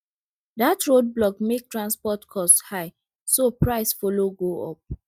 that roadblock make transport cost high so price follow go up